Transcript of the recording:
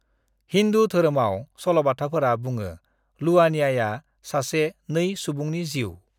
"हिन्दु धोरोमाव, सल'बाथाफोरा बुङो लुवानियाया सासे 2-सुबुंनि जिउ।"